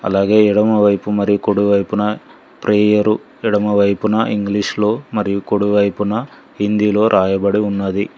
అలాగే ఎడమవైపు మరి కుడివైపున ప్రేయరు ఎడమవైపున ఇంగ్లీషులో మరియు కుడివైపున హిందీలో యబడి ఉన్నది.